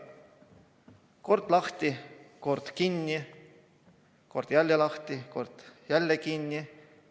Kord on kool lahti, kord kinni, siis jälle lahti, siis jälle kinni.